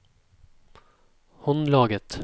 håndlaget